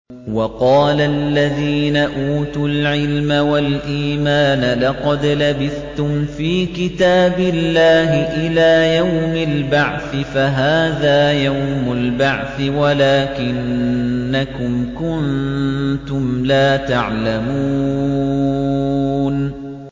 وَقَالَ الَّذِينَ أُوتُوا الْعِلْمَ وَالْإِيمَانَ لَقَدْ لَبِثْتُمْ فِي كِتَابِ اللَّهِ إِلَىٰ يَوْمِ الْبَعْثِ ۖ فَهَٰذَا يَوْمُ الْبَعْثِ وَلَٰكِنَّكُمْ كُنتُمْ لَا تَعْلَمُونَ